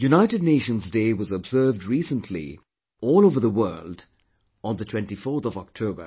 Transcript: United Nations Day was observed recently all over the world on the 24th of October